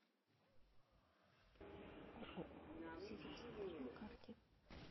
ооо сити центр на карте